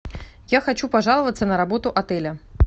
я хочу пожаловаться на работу отеля